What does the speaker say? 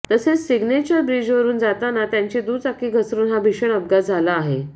तसेच सिग्नेचर ब्रीजवरुन जाताना त्यांची दुचाकी घसरुन हा भीषण अपघात झाला आहे